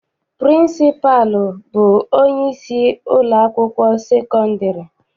Pịrịnsịpalụ bụ onyeisi ụlọakwụkwọ sekọndịrị.